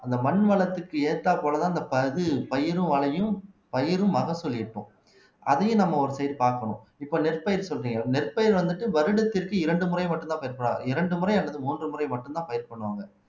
அந்த மண் வளத்துக்கு ஏத்தாற்போலதான் அந்த பகு பயிரும் விளையும் பயிரும் மகசூல் இருக்கும் அதையும் நம்ம ஒரு side பார்க்கணும் இப்ப நெற்பயிர் சொல்றீங்க நெற்பயிர் வந்துட்டு வருடத்திற்கு இரண்டு முறை மட்டும்தான் இரண்டு முறை அல்லது மூன்று முறை மட்டும்தான் பயிர் பண்ணுவாங்க